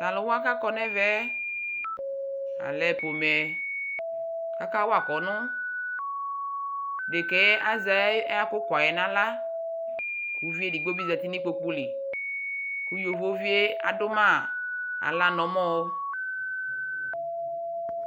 talʋ wa kʋakɔ nʋ ɛvɛ alɛ pɔmɛ kʋ aka wa kɔnʋ, ɛdɛka azɛ ayi akʋkʋaɛ nʋ ala, ʋvi ɛdigbɔ bi zati nʋ ikpɔkʋ li kʋ yɔvɔ viɛ adʋ ma ala nʋ ɔmɔ